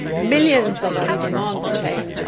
Millions of us demand the change